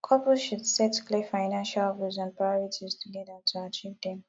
couples should set clear financial goals and priorities together to achieve dem